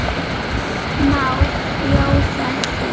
Má bjóða þér?